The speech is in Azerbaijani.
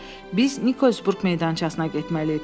Biz Nikolsburq meydançasına getməliyik,